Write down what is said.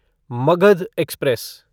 Magadh express